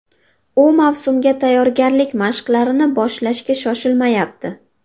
U mavsumga tayyorgarlik mashqlarini boshlashga shoshilmayapti.